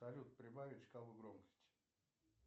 салют прибавить шкалу громкости